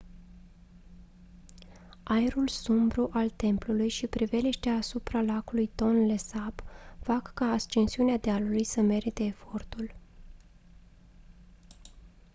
aerul sumbru al templului și priveliștea asupra lacului tonle sap fac ca ascensiunea dealului să merite efortul